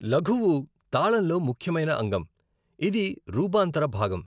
లఘువు తాళంలో ముఖ్యమైన అంగం, ఇది రూపాంతర భాగం.